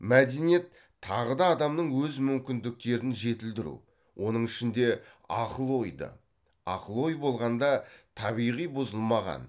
мәдениет тағы да адамның өз мүмкіндіктерін жетілдіру оның ішінде ақыл ойды ақыл ой болғанда табиғи бұзылмаған